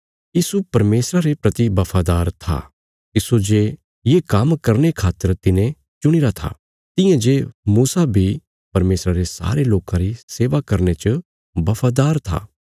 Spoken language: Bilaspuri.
यीशु परमेशरा रे प्रति बफादार था तिस्सो जे ये काम्म करने खातर तिने चुणीरा था तियां जे मूसा बी परमेशरा रे सारे लोकां री सेवा करने च बफादार था